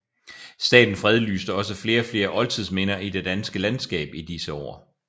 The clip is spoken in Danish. Staten fredlyste også flere og flere oldtidsminder i det danske landskab i disse år